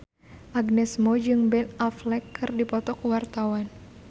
Agnes Mo jeung Ben Affleck keur dipoto ku wartawan